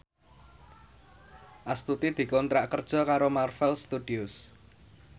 Astuti dikontrak kerja karo Marvel Studios